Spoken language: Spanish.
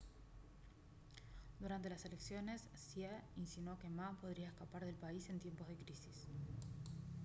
durante las elecciones hsieh insinuó que ma podría escapar del país en tiempos de crisis